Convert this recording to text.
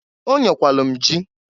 Onyekwalu m jị.